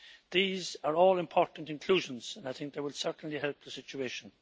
These are all important inclusions, and I think they will certainly help the situation.